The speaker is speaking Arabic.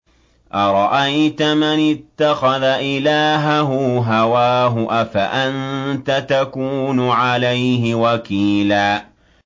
أَرَأَيْتَ مَنِ اتَّخَذَ إِلَٰهَهُ هَوَاهُ أَفَأَنتَ تَكُونُ عَلَيْهِ وَكِيلًا